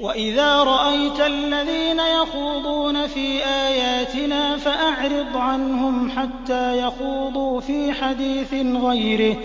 وَإِذَا رَأَيْتَ الَّذِينَ يَخُوضُونَ فِي آيَاتِنَا فَأَعْرِضْ عَنْهُمْ حَتَّىٰ يَخُوضُوا فِي حَدِيثٍ غَيْرِهِ ۚ